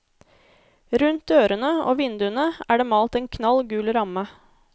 Rundt dørene og vinduene er det malt en knall gul ramme.